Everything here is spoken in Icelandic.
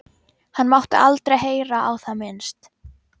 Hann mátti aldrei heyra á það minnst.